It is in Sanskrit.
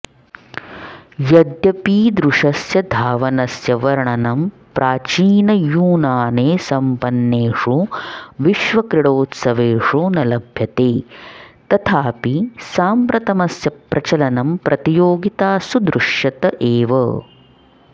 यद्यपीदृशस्य धावनस्य वर्णनं प्राचीनयूनाने सम्पन्नेषु विश्वक्रीडोत्सवेषु न लभ्यते तथापि साम्प्रतमस्य प्रचलनं प्रतियोगितासु दृश्यत एव